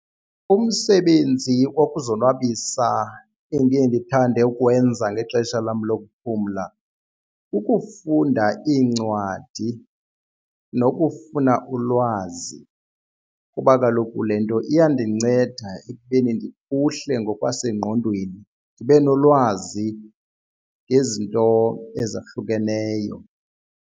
Umsebenzi wokuzonwabisa endiye ndithande ukwenza ngexesha lam lokuphumla kukufunda iincwadi nokufuna ulutsha lwazi, kuba kaloku le nto iyandinceda ekubeni ndiphuhle ngokwasengqondweni ndibe nolwazi ngezinto ezahlukeneyo.